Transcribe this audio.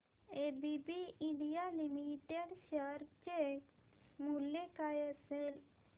ABB India Limited share चे मूल्य काय असेल